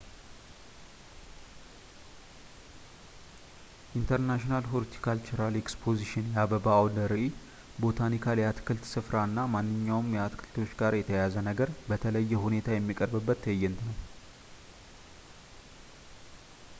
international horticultural expositions የአበባ አውደ ራዕይ ፣ botanical የአትክልት ስፍራ እና ማንኛውም ከአትክልቶች ጋር የተያያዘ ነገር በተለየ ሁኔታየሚቀርብበት ትዕይንት ነው